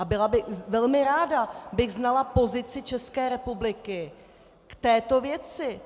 A byla bych, velmi ráda bych znala pozici České republiky k této věci.